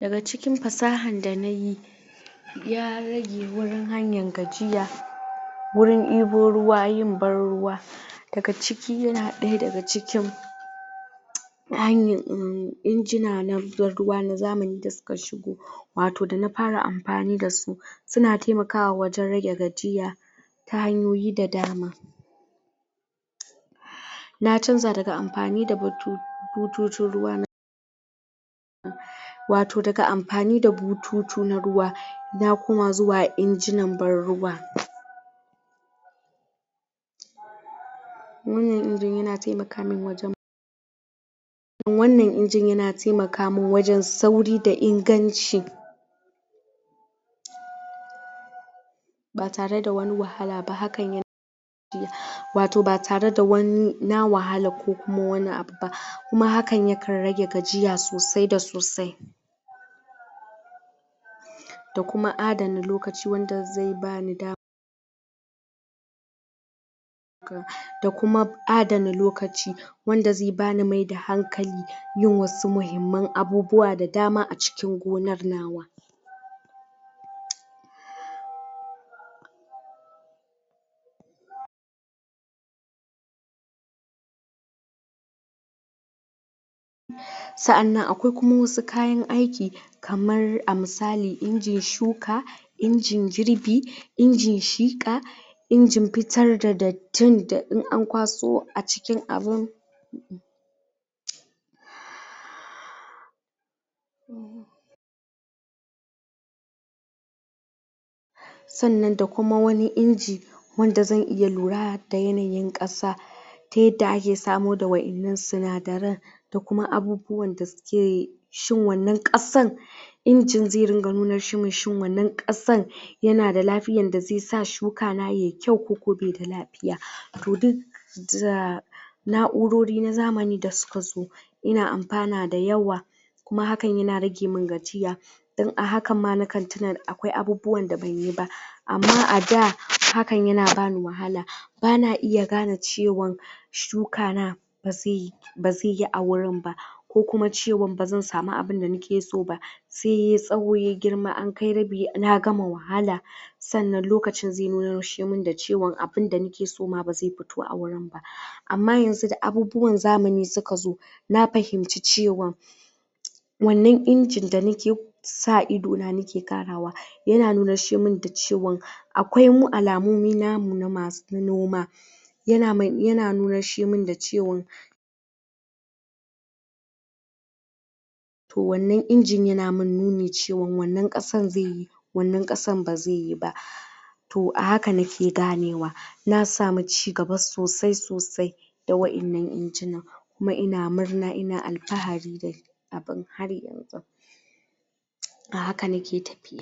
Daga cikin fasahan da nayi ya rage wurin hanyan gajiya wurin ibo ruwa yin ban ruwa daga ciki yana ɗaya daga cikin na hanyar umm injina na ban ruwa na zamani da suka shigo wato da na fara amfani dasu suna taimakawa wajen rage gajiya ta hanyoyi da dama na canja daga amfani da butu bututun ruwa wato daga amfani da bututu na ruwa na kuma zuwa injinan ban ruwa wannan injin yana taimaka min wajen wannan injin yana taimaka min wajen sauri da inganci ba tareda wani wahala ba hakan wato ba tareda wani, na wahala ko wani abu ba kuma hakan yakan rage gajiya sosai da sosai da kuma adana lokaci wanda zai bani damar da kuma adana lokaci wanda zai bani maida hankali yin wasu mihimman abubuwa da dama a cikin gonar nawa sa'annan akwai kuma wasu kayan aiki kamar a misali injin shuka injin girbi injin shika injin fitar da dattin da in an kwaso a cikin abun sannan da kuma wani inji wanda zan iya lura da yanayin ƙasa ta yadda ake samo waƴannan sinadaran ko kuma abubuwan da suke, shin wannan ƙasan injin zai dinga nunar, shin wannan ƙasar? yana da lafiyan da zai sa shukana yai kyau koko baida lafiya, to duk za na'urori na zamani da suka zo ina amfana da yawa kuma haan yana ragemin gajiya don a hakan ma na kan tuna da akwai abubuwanda banyi ba, amma a da hakan yana bani wahala bana iya gane cewan shukana ba zai yi ba zai yi a wurin ba ko kuma cewan ba zan sami abinda nake so ba sai yai tsawo yai girma na gama wahala sannan lokacin zai nushemin da cewan abinda nake so ma bazai fito a wurin ba amma yanzu da abubuwan zamani suka zo na fahimci cewan wannan injin danake sa idona nake ƙarawa yana nushermin da cewan akwai alamu namu na masu noma yana nushemin da cewan wannan injin yana min nuni cewan wannan ƙasan zai yi wannan ƙasan ba zai yi ba to a haka nake ganewa na samu ci gaba sosai sosai da waƴannan injinan kuma ina murna ina alfahari kafin a haka nake tafiya